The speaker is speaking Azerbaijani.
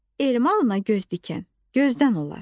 El malına göz dikən gözdən olar.